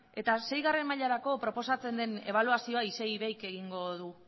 eta seigarren mailarako proposatzen den ebaluazioa isei iveik